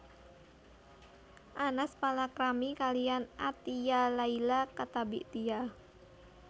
Anas palakrami kaliyan Athiyyah Laila Attabik Tia